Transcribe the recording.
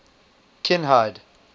kinhide